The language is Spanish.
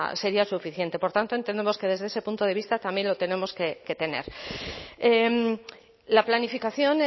sería suficiente por tanto entendemos que desde ese punto de vista también lo tenemos que tener la planificación